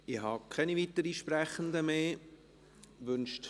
Ich habe keine weiteren Sprechenden mehr auf der Liste.